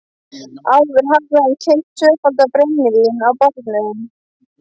Áður hafði hann keypt tvöfaldan brennivín á barnum.